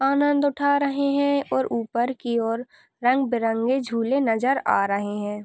आनंद उठा रहे है और ऊपर की और रंग बिरंगे झूले नज़र आ रहे है।